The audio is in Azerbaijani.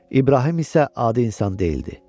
İbrahim isə adi insan deyildi.